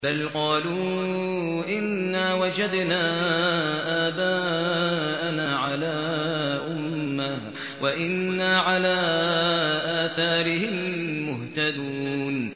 بَلْ قَالُوا إِنَّا وَجَدْنَا آبَاءَنَا عَلَىٰ أُمَّةٍ وَإِنَّا عَلَىٰ آثَارِهِم مُّهْتَدُونَ